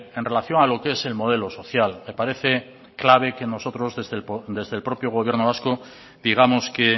en relación a lo que es el modelo social me parece clave que nosotros desde el propio gobierno vasco digamos que